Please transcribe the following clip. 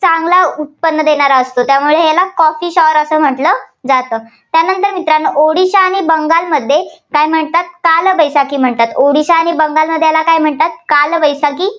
चांगला उत्पन्न देणारं असतो. त्यामुळे याला coffee shower असं म्हटलं जातं. त्यानंतर मित्रांनो ओडिशा आणि बंगालमध्ये काय म्हणतात काय बैसाखी म्हणतात. ओडिशा आणि बंगालमध्ये याला काय म्हणतात काल बैसाखी. म्ह~